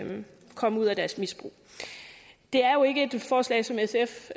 komme ud af deres misbrug det er jo ikke et forslag som sf